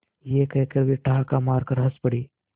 यह कहकर वे ठहाका मारकर हँस पड़े